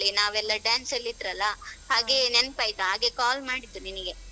ನಾವೆಲ್ಲ dance ಅಲ್ ಇದ್ರಲ್ಲ ಹಾಗೆ ನೆನ್ಪ್ ಆಯ್ತ್ ಹಾಗೆ call ಮಾಡಿದ್ದು ನಿನಗೆ.